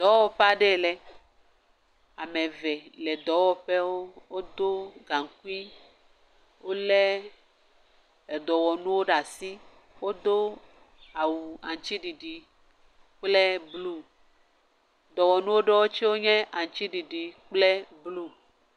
Dɔwɔƒe aɖe lɛ, ame eve le dɔwɔƒewo, wodo gaŋkui, wolé dɔwɔnuwo ɖe asi, wodo awu aŋutiɖiɖi kple blu. Dɔwɔnu ɖewo tsɛ nye aŋuti ɖiɖi kple blu.